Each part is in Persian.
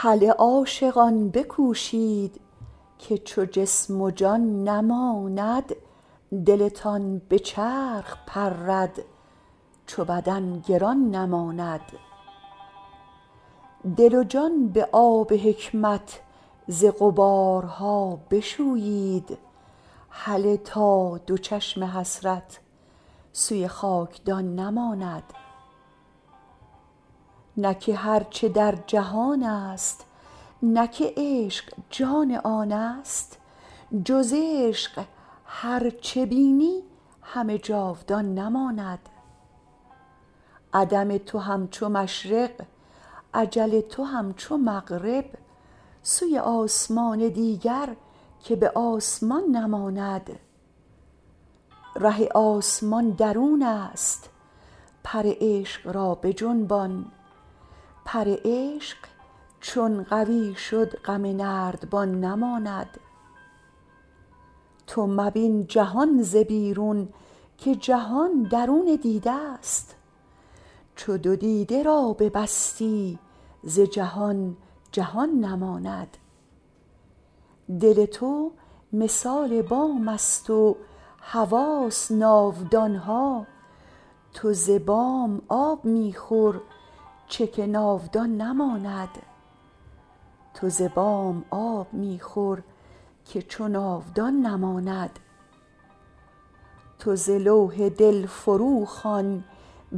هله عاشقان بکوشید که چو جسم و جان نماند دلتان به چرخ پرد چو بدن گران نماند دل و جان به آب حکمت ز غبارها بشویید هله تا دو چشم حسرت سوی خاک دان نماند نه که هر چه در جهان است نه که عشق جان آن است جز عشق هر چه بینی همه جاودان نماند عدم تو هم چو مشرق اجل تو هم چو مغرب سوی آسمان دیگر که به آسمان نماند ره آسمان درون است پر عشق را بجنبان پر عشق چون قوی شد غم نردبان نماند تو مبین جهان ز بیرون که جهان درون دیده ست چو دو دیده را ببستی ز جهان جهان نماند دل تو مثال بام است و حواس ناودان ها تو ز بام آب می خور که چو ناودان نماند تو ز لوح دل فروخوان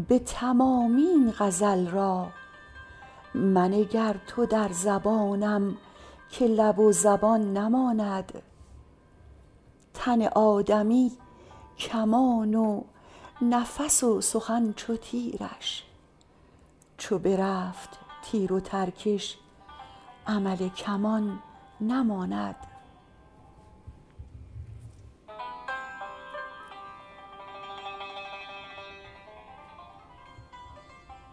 به تمامی این غزل را منگر تو در زبانم که لب و زبان نماند تن آدمی کمان و نفس و سخن چو تیرش چو برفت تیر و ترکش عمل کمان نماند